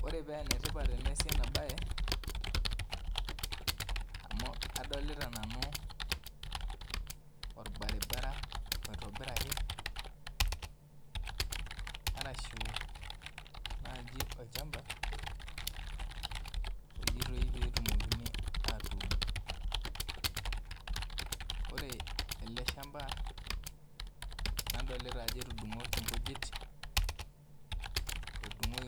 Ore penetipat teneasu enabae amu adolta nanu orbaribara oitobiraku ashu nai olchamba ojitpi petumokini atuun ore eleshamba nadolta ajo etudungoki